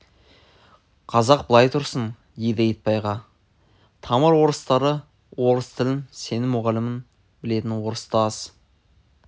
қазақ былай тұрсын дейді итбайға тамыр орыстары орыс тілін сенің мұғалімің білетін орыс та аз